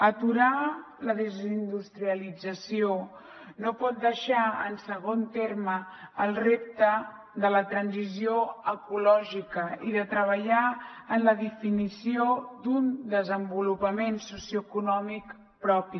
aturar la desindustrialització no pot deixar en segon terme el repte de la transició ecològica i de treballar en la definició d’un desenvolupament socioeconòmic propi